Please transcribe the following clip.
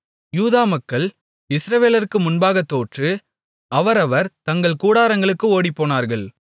யூதா மக்கள் இஸ்ரவேலருக்கு முன்பாகத் தோற்று அவரவர் தங்கள் கூடாரங்களுக்கு ஓடிப்போனார்கள்